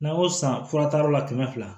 N'an y'o san fura tayɔrɔ la kɛmɛ fila